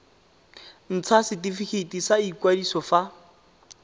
ntsha setifikeiti sa ikwadiso fa